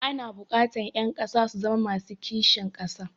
Ana buƙatar ƴan ƙasa su zama masu kishin ƙasa.